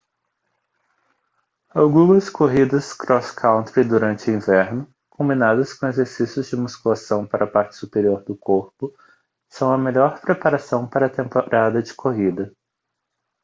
algumas corridas cross country durante o inverno combinadas com exercícios de musculação para a parte superior do corpo são a melhor preparação para a temporada de corrida